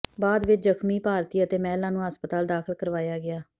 ਬਾਅਦ ਵਿਚ ਜਖਮੀ ਭਾਰਤੀ ਅਤੇ ਮਹਿਲਾ ਨੂੰ ਹਸਪਤਾਲ ਦਾਖਲ ਕਰਵਾਇਆ ਗਿਆ